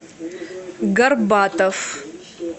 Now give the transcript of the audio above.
горбатов